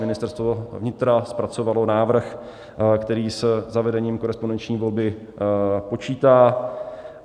Ministerstvo vnitra zpracovalo návrh, který se zavedením korespondenční volby počítá.